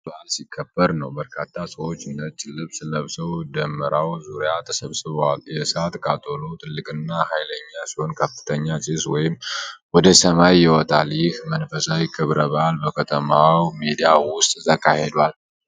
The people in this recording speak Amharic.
መስቀል በዓል ሲከበር ነው። በርካታ ሰዎች ነጭ ልብስ ለብሰው ደመራው ዙሪያ ተሰብስበዋል። የእሳት ቃጠሎው ትልቅና ኃይለኛ ሲሆን ከፍተኛ ጭስ ወደ ሰማይ ይወጣል። ይህ መንፈሳዊ ክብረ በዓል በከተማው ሜዳ ውስጥ ተካሂዷል።